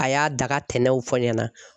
A y'a da ka tɛnɛnw fɔ n ɲɛna.